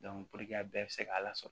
puruke a bɛɛ be se k'a lasɔrɔ